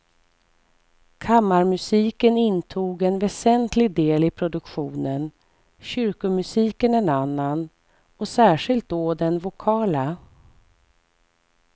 Kammarmusiken intog en väsentlig del i produktionen, kyrkomusiken en annan, och särskilt då den vokala.